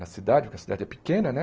Na cidade, porque a cidade é pequena, né?